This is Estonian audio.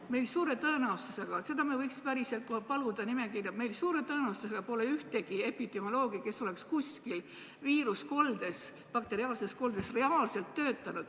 Meil pole suure tõenäosusega – me võiks päriselt paluda nimekirja – ühtegi epidemioloogi, kes oleks kusagil viiruskoldes, bakteriaalses koldes reaalselt töötanud.